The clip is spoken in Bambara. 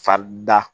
Farida